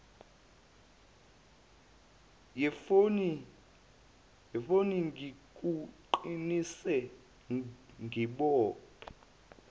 yefoni ngikuqinise ngibophe